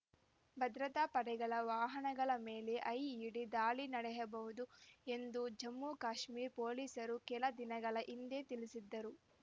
ಭದ್ರತಾಪಡೆಗಳ ವಾಹನಗಳ ಮೇಲೆ ಐಇಡಿ ದಾಳಿ ನಡೆಯಬಹುದು ಎಂದು ಜಮ್ಮುಕಾಶ್ಮೀರ ಪೊಲೀಸರು ಕೆಲ ದಿನಗಳ ಹಿಂದೆ ತಿಳಿಸಿದ್ದರು